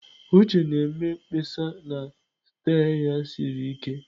Uche na-eme mkpesa na steer ya siri ike.